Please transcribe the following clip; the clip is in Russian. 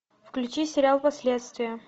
включи сериал последствия